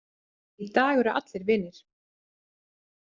Í dag eru allir vinir.